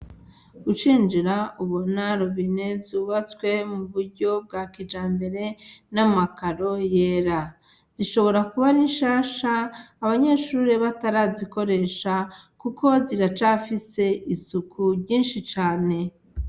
Ucinjira ubona robine zubatswe mu buryo bwa kijambere n' amakaro yera, zishobora kuba ari nshasha abanyeshure batararizikoresha kuko ziracafise isuku ryinshi cane.